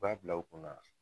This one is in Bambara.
U b'a bila u kunna